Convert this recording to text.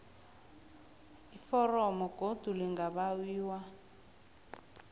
iforomo godu lingabawiwa